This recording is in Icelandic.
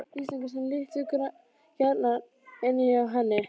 Íslendinga sem litu gjarnan inn hjá henni.